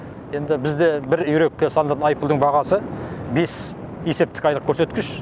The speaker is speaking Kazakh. енді бізде бір үйрекке салынатын айыппұлдың бағасы бес есептік айлық көрсеткіш